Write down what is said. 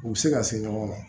U bɛ se ka se ɲɔgɔn ma